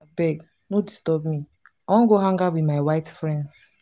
abeg no disturb me i wan go hang out with my white friends